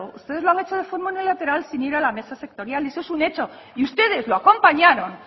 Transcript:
ustedes lo han hecho de forma unilateral sin ir a la mesa sectorial y eso es un hecho y ustedes lo acompañaron